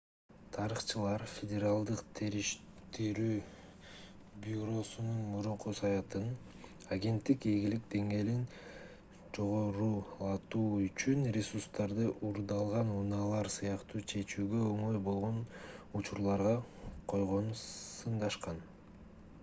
тарыхчылар федералдык териштирүү бюросунун мурунку саясатын агенттиктин ийгилик деңгээлин жогорулатуу үчүн ресурстарды уурдалган унаалар сыяктуу чечүүгө оңой болгон учурларга койгонун сындашкан